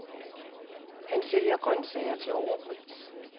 Han sælger grøntsager til overpris.